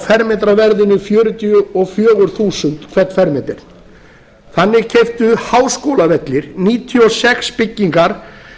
fermetraverðinu fjörutíu og fjögur þúsund hvern fermetra þannig keyptu háskólavellir níutíu og sex byggingar